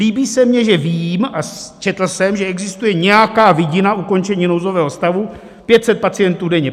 Líbí se mně, že vím a četl jsem, že existuje nějaká vidina ukončení nouzové stavu, 500 pacientů denně.